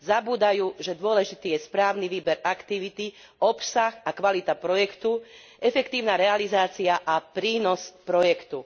Zabúdajú, že dôležitý je správny výber aktivity, obsah a kvalita projektu, efektívna realizácia a prínos projektu.